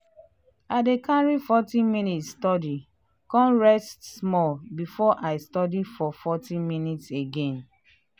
i dey carry forty minute study con rest small before i study for forty minute again.